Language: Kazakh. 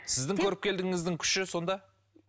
сіздің көріпкелдігіңіздің күші сонда